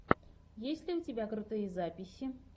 есть ли у тебя крутые записи